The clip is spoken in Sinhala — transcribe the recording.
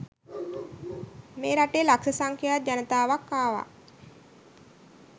මේ රටේ ලක්ෂ සංඛ්‍යාත ජනතාවක් ආවා.